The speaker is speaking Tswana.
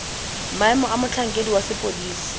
maemo a motlhankedi wa sepodisi